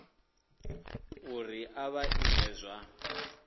uri a vha iti zwa